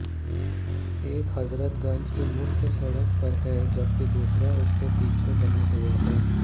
एक हजरतगंज की मुख्य सडक़ पर है जबकि दूसरा उसके पीछे बना हुआ है